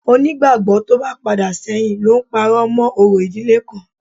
Onígbàgbọ́ tó bá padà sẹ́yìn ló ń parọ́ mọ́ orò ìdílé kan